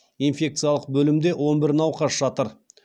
инфекциялық бөлімде он бір науқас жатыр